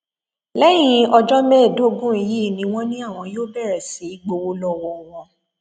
lẹyìn ọjọ mẹẹẹdógún yìí ni wọn ní àwọn yóò bẹrẹ sí í gbowó lọwọ wọn